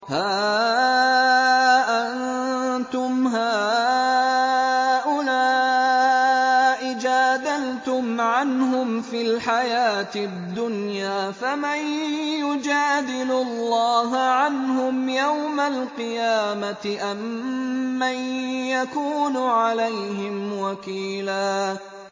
هَا أَنتُمْ هَٰؤُلَاءِ جَادَلْتُمْ عَنْهُمْ فِي الْحَيَاةِ الدُّنْيَا فَمَن يُجَادِلُ اللَّهَ عَنْهُمْ يَوْمَ الْقِيَامَةِ أَم مَّن يَكُونُ عَلَيْهِمْ وَكِيلًا